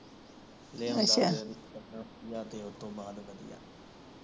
ਲੈ ਆਉਦਾ ਦਿਲ ਅੱਛਾ ਸੱਜਣਾ ਜਾ ਦਿਲ ਤੋਂ ਬਾਹਰ ਵਧੀਆ ਅੱਛਾ